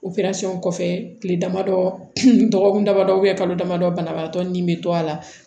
kɔfɛ kile damadɔ dɔgɔkun dama dɔ kalo dama dɔ banabagatɔ ni bɛ to a la